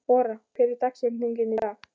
Ora, hver er dagsetningin í dag?